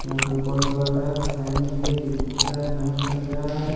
यहां पे बॉल बढ़ रहा है फैन भी है जो रुका है नहीं चल रहा है।